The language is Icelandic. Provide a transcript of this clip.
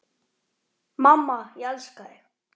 Mamma, ég elska þig.